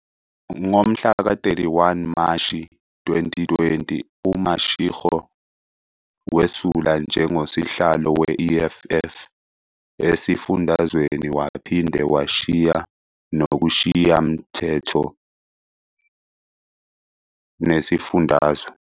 Ngomhlaka 31 Mashi 2020, uMashego wesula njengoSihlalo we-EFF esifundazweni waphinde washiya nakuSishayamthetho sesifundazwe.